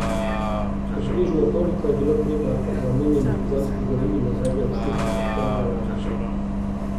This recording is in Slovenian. Približno toliko je bilo treba za omenjeni pogonski gorivi nazadnje odšteti septembra lani.